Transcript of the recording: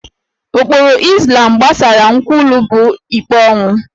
Ụkpụrụ Izlam gbasara nkwulu bụ ikpe ọnwụ